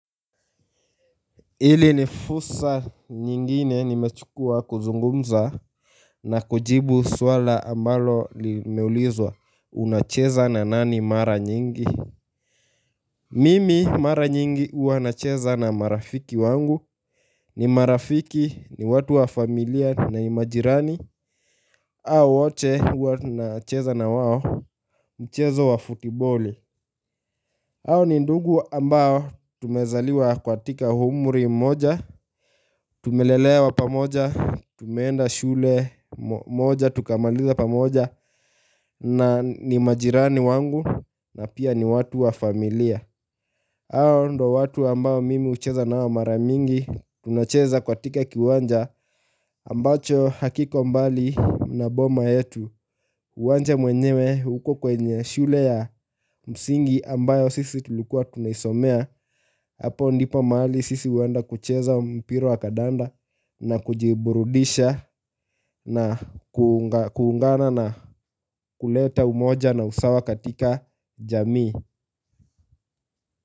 Ili nifursa nyingine nimechukua kuzungumza na kujibu swala ambalo limeulizwa unacheza na nani mara nyingi Mimi mara nyingi huanacheza na marafiki wangu ni marafiki ni watu wa familia na majirani hao wote hua nacheza na wao mchezo wa futiboli Awo ni ndugu ambao tumezaliwa katika umuri mmoja, tumelelewa pamoja, tumeenda shule moja, tukamaliza pamoja na ni majirani wangu na pia ni watu wa familia. Ayo ndo watu ambayo mimi ucheza nao maramingi tunacheza katika kiwanja ambacho hakiko mbali na boma yetu uwanja mwenyewe uko kwenye shule ya msingi ambayo sisi tulikuwa tunaisomea hapo ndipo maali sisi huenda kucheza mpira wa kadanda na kujiburudisha na kuungana na kuleta umoja na usawa katika jamii.